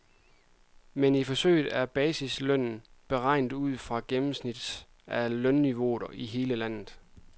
Men i forsøget er basislønnen beregnet ud fra gennemsnittet af lønniveauet i hele landet.